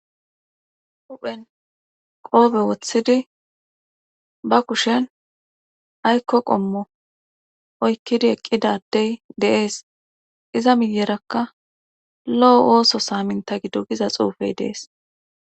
huphen qoobe woththidi ba kushen aykko qommo oykkidi eqqidadey deees iza miyerakka lo7o ooso saaminta gidogiza xuufey dees